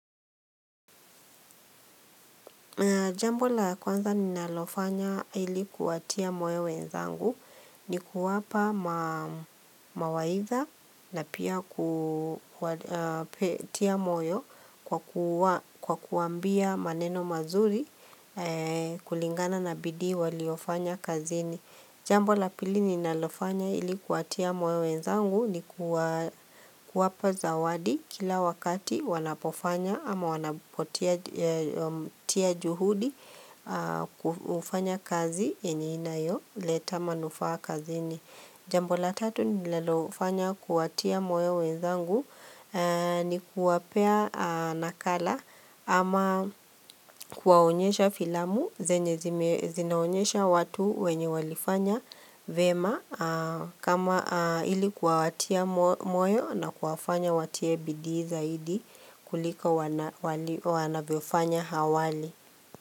Jambo la kwanza ninalofanya ili kuwatia moyo wenzangu ni kuwapa mawaidha na pia kutia moyo kwa kuwaambia maneno mazuri kulingana na bidii waliofanya kazini. Jambo la pili ninalofanya ili kuwatia moyo wenzangu ni kuwapa zawadi kila wakati wanapofanya ama wanapotia juhudi kufanya kazi yenye inayoleta manufaa kazini. Jambo la tatu ninalofanya kuwatia moyo wenzangu ni kuwapea nakala ama kuwaonyesha filamu zenye zinaonyesha watu wenye walifanya vema kama ili kuwatia moyo na kuwafanya watie bidii zaidi kuliko wanavyofanya hawali.